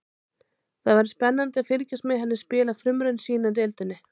Það verður spennandi að fylgjast með henni spila frumraun sína í deildinni.